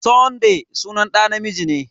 Sunday sunan ɗa namiji ne.